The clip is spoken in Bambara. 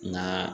Nka